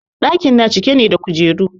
ɗaki na cike ne da kujeru